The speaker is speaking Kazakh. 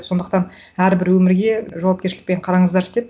сондықтан әрбір өмірге жауапкершілікпен қараңыздаршы деп